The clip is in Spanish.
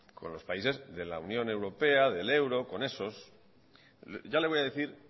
con los países de la unión europea el euro con esos ya le voy a decir